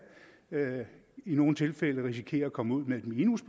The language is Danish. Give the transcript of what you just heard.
i nogle tilfælde risikere at komme ud med et minus